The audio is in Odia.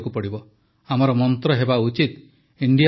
ଆମର ମନ୍ତ୍ର ହେବା ଉଚିତ ଇଣ୍ଡିଆ ଫାଷ୍ଟ୍